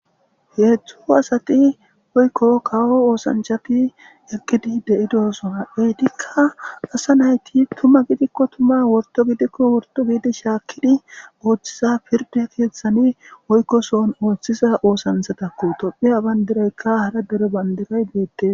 heedzdzu asati oykko kawo oosanchati ekkidi de7idosona etikka asa nayti tuma gidikko tuma worto gidikko worto giidi shaakkidi ooththiza pirde keeththani oykkosoon ooththiza oosanthatakku tophiya bayndiraykka hara dere bandiray beette